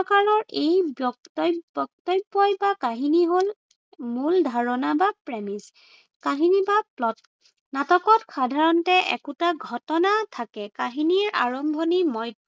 এই বক্তব্য়ই বা কাহিনী হল মূল ধাৰণা বা premise কাহিনী বা plot । নাটকত সাধাৰণতে একোটা ঘটনা থাকে। কাহিনীৰ আৰম্ভণি মধ্য়।